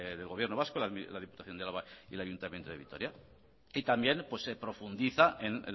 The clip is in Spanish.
del gobierno vasco la diputación de álava y el ayuntamiento del vitoria y también se profundiza en